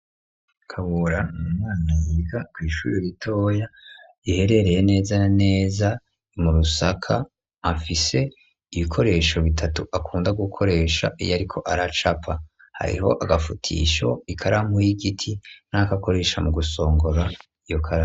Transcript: Kabura nu mwana yiga kw’ishure ritoya yiherereye neza neza mu rusaka afise ibikoresho bitatu akunda gukoresha iyo ariko aracapa hariho agafutisho ,ikaramu y'igiti n'akakoresha mu gusongora iyokaramu.